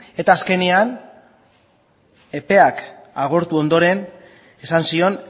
eta azkenean epeak agortu ondoren esan zion